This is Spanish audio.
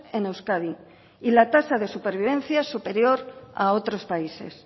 en euskadi y la tasa de supervivencia es superior a otros países